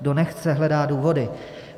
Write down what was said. Kdo nechce, hledá důvody.